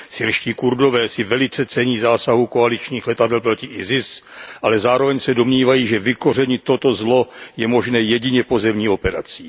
Syrští Kurdové si velice cení zásahu koaličních letadel proti ISIS, ale zároveň se domnívají, že vykořenit toto zlo je možné jedině pozemní operací.